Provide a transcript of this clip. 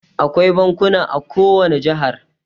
Akwai bankuna a ko wani jihar.